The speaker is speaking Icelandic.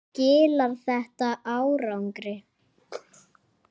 En skilar þetta árangri?